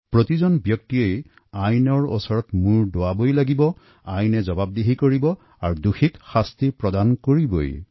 প্ৰত্যেকেই আইনৰ ওচনৰ শিৰণত কৰিবই লাগিব আইনে তাৰ বিচাৰ কৰিব আৰু অপৰাধীয়ে শাস্তি পাবই